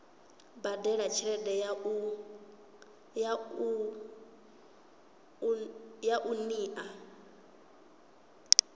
badela tshelede ya u unḓa